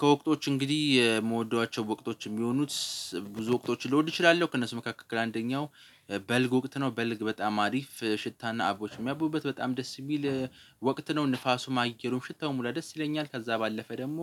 ከወቅቶች እንግዲህ የምወዷቸው ወቅቶች የሚሆኑት ብዙ ወቅቶች ልወድ እችላለሁ ከእነሱ መካከል አንደኛው በልግ ወቅት ነው። በልግ በጣም አሪፍ ሽታና አበቦች የሚያቡበት በጣም ደስ የሚል ወቅት ነው። ንፋሱም ማግኘት ሽታው ሁላ ደስ ይለኛል። ከዛ ባለፈ ደግሞ